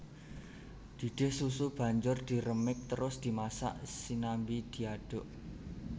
Didih susu banjur diremik trus dimasak sianmbi diaduk